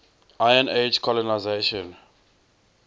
iron age colonisation